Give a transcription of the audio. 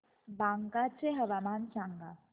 बांका चे हवामान सांगा